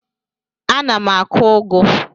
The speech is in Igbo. Ana m akụ ụgụ.